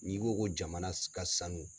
N'i ko ko jamana ka sanu